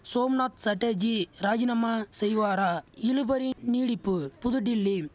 சோம்நாத் சட்டர்ஜி ராஜினாமா செய்வாரா இழுபறி நீடிப்பு புதுடில்லி